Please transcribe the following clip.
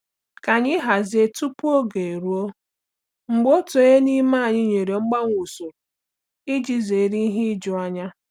Ka anyị hazie tupu oge eruo mgbe otu onye n'ime anyị nwere mgbanwe usoro iji zere ihe ijuanya.